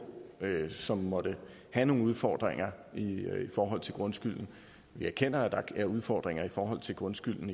som måtte have nogle udfordringer i forhold til grundskylden vi erkender at der er udfordringer i forhold til grundskylden